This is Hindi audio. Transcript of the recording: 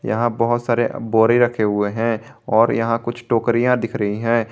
यहां बहुत सारे बोरी रखे हुए हैं और यहां कुछ टोकरिया दिख रही हैं।